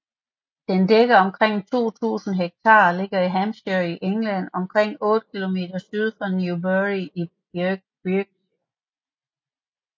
Den dækker omkring 2000 hektar og ligger i Hampshire i England omkring 8 km syd for Newbury i Berkshire